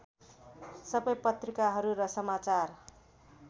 सबै पत्रिकाहरू र समाचार